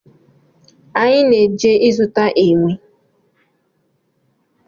Anyị na-eje zụta enwe